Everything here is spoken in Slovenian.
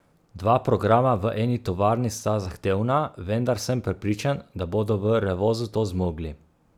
Dva programa v eni tovarni sta zahtevna, vendar sem prepričan, da bodo v Revozu to zmogli.